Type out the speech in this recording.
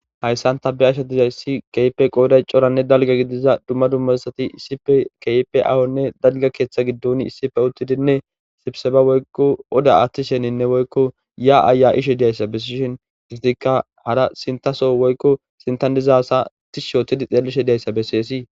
hayssan ta be'ashe dizayssi kehipe qooday coranne dalga gidiza dumma dummazasati isipe keipe aawonne dalga keeththa giddon issife uttidinne sibseba woykko oda aaththi sheninne woykko ya7aya ishe diyayssa bessishin istikka hara sintaso woykko sintan dizaasa tish shootidi xeelishe diyayssa besseesii